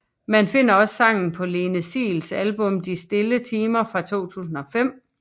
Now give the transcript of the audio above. Man finder også sangen på Lene Siels album De stille timer fra 2005